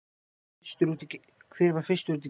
hver var fyrstur út í geim